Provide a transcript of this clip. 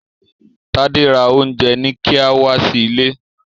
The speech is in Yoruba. Tade rà Oúnjẹ-ní-kíá wá sí ìlé.